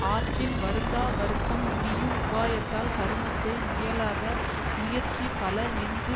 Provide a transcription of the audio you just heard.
ஆற்றின் வருந்தா வருத்தம் முடியும் உபாயத்தால் கருமத்தை முயலாத முயற்சி பலர் நின்று